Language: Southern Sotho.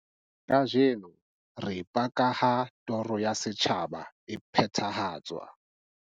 Kajeno re paka ha toro ya setjhaba e phethahatswa.